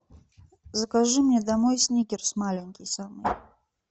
закажи мне домой сникерс маленький самый